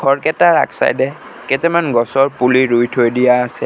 ঘৰকেইটাৰ আগছাইডে কেইটামান গছৰ পুলি ৰোই থৈ দিয়া আছে।